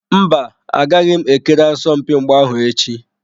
Mba, agaghị m ekiri asọmpi mgba ahụ echi.